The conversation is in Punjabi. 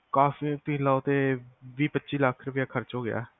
cost ਵੀ ਲਾਓ ਤੇ ਵੀ-ਪਚੀ ਲੱਖ ਰੁਪਿਆ ਖਰਚ ਹੋ ਗਯਾ ਹੋਣਾ